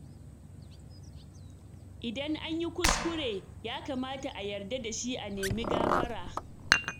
Idan an yi kuskure, ya kamata a yarda da shi a nemi gafara.